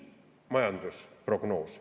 Suvine majandusprognoos.